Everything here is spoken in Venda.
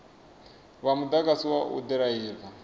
vha mugudisi wa u ḓiraiva